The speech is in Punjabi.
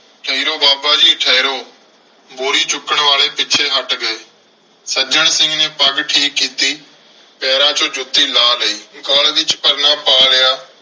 ਠਹਿਰੋ ਬਾਬਾ ਜੀ ਠਹਿਰੋ। ਬੋਰੀ ਚੁੱਕਣ ਵਾਲੇ ਪਿੱਛੇ ਹੱਟ ਗਏ। ਸੱਜਣ ਸਿੰਘ ਨੇ ਪੱਗ ਠੀਕ ਕੀਤੀ। ਪੈਰਾਂ ਚੋਂ ਜੁੱਤੀ ਲਾਹ ਲਈ। ਗਲ ਵਿੱਚ ਪਰਨਾ ਪਾ ਲਿਆ।